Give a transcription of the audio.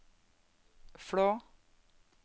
Flå